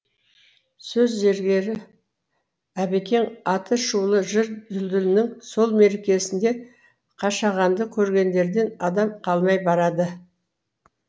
сөз зергері әбекең атышулы жыр дүлдүлінің сол мерекесінде қашағанды көргендерден адам қалмай барады